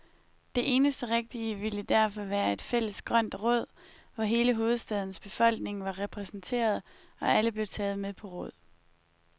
Det eneste rigtige ville derfor være et fælles grønt råd, hvor hele hovedstadens befolkning var repræsenteret, og alle blev taget med på råd.